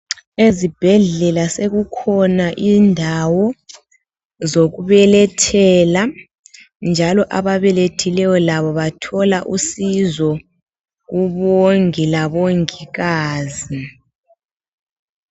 Ezibhendlela sekukhona indawo zokubelethela njalo ababelethileyo labo bathola usizo kubongi labongikazi